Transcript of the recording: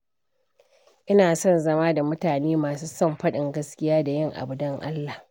Ina son zama da mutane masu son faɗin gaskiya da yin abu don Allah.